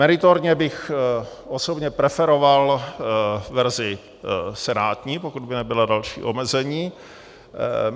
Meritorně bych osobně preferoval verzi senátní, pokud by nebyla další omezení.